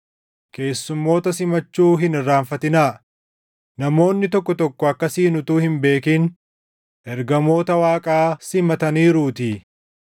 Keessumoota simachuu hin irraanfatinaa; namoonni tokko tokko akkasiin utuu hin beekin ergamoota Waaqaa simataniiruutii.